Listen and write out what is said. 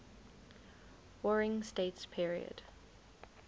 warring states period